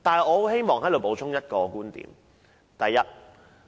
我希望補充一個觀點。